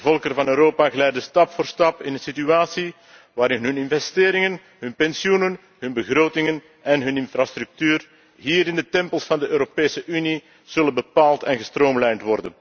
De volkeren van Europa glijden stap voor stap in een situatie waarin hun investeringen, hun pensioenen, hun begrotingen en hun infrastructuur hier in de tempels van de Europese Unie zullen worden bepaald en gestroomlijnd.